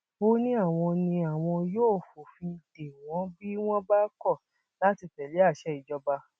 ó ní àwọn ní àwọn yóò fòfin dè wọn bí wọn bá kọ láti tẹlé àṣẹ ìjọba